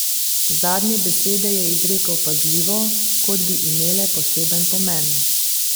Zadnje besede je izrekel pazljivo, kot bi imele poseben pomen.